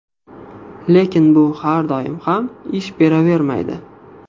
Lekin bu har doim ham ish beravermaydi.